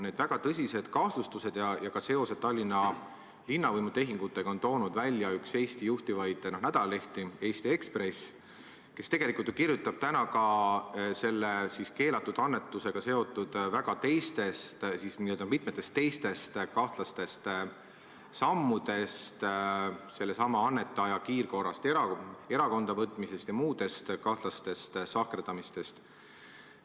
Need väga tõsised kahtlustused ja ka seosed Tallinna linnavõimu tehingutega on toonud välja üks Eesti juhtivaid nädalalehti, Eesti Ekspress, kes tegelikult ju kirjutab täna ka selle keelatud annetusega seotud mitmetest teistest kahtlastest sammudest, sellesama annetaja kiirkorras erakonda võtmisest ja muudest kahtlastest sahkerdamistest.